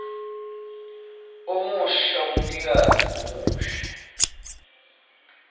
omusha umnikazi omusha